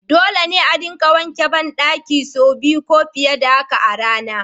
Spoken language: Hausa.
Dole ne a dinga wanke bandakuna say biyu ko fiye da haka a rana.